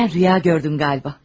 Sən röya gördün qaldı.